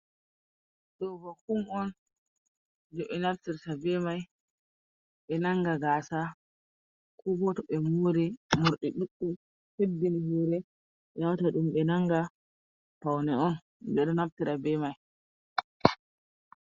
Ɗo ba kum on, jei ɓe naftirta be mai, ɓe nanga gaasa. Ko bo to ɓe moori, morɗi ɗuɗɗum, hebbini hoore, ɓe naftira ɗum be nanga. Paune on, ɓe ɗo naftira be mai.